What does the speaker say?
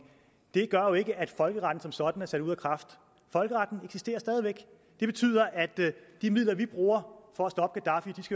gør jo ikke at folkeretten som sådan er sat ud af kraft folkeretten og det betyder at de midler vi bruger for